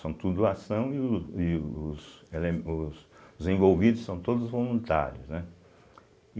São tudo doação e o e os eleme os envolvidos são todos voluntários, né.